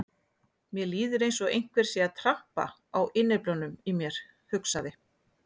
Mér líður eins og einhver sé að trampa á innyflunum í mér, hugsaði